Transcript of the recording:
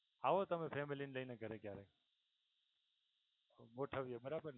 આવો તમે family ને લઈને ક્યારેક ગોઠવીએ બરાબર